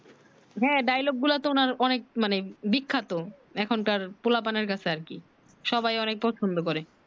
হ্যাঁ dialogue তো অনেক মানে বিখ্যাত এখন কার ছেলেদের কাছে আর কি সবাই অনেক পছন্দ করে